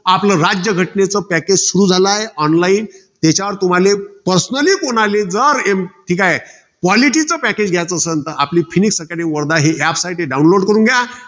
आपलं, राज्यघटनेच package सुरु झालंय online त्याच्यावर कुणाले, personally कुणाले जर एम ठीक हाये. Quality चं package घ्यायचं असेल तर आपली phonix acadmey वर नाही. यासाठी download करून घ्या.